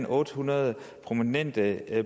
otte hundrede prominente